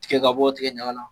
Tikɛ ka bɔ tigɛ ɲaga la.